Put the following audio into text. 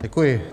Děkuji.